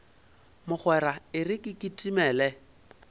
mogwera e re ke kitimele